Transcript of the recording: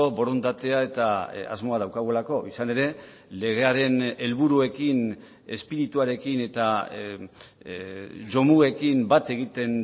borondatea eta asmoa daukagulako izan ere legearen helburuekin espirituarekin eta jomugekin bat egiten